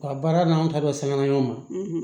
A baara n'an ta bɛɛ sɛgɛnna ɲɔgɔn ma